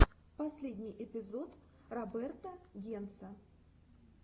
последний эпизод роберта генца